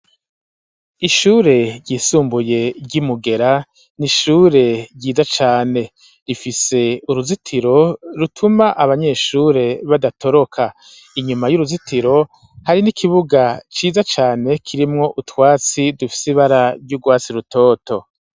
Ishure ryisumbuye ry'imugera ,n'ishure ryiza cane, rifise uruzitiro rutuma abanyeshure badatoroka ,inyuma y'uruzitiro hari n'ikibuga ciza cane kirimwo ,utwatsi dufise ibara ry'urwasi rutoto.